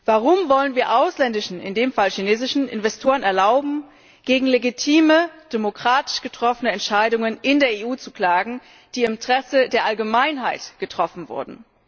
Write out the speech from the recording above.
Warum wollen wir ausländischen in dem Fall chinesischen Investoren erlauben, gegen legitime, demokratisch getroffene Entscheidungen in der EU zu klagen, die im Interesse der Allgemeinheit getroffen wurden?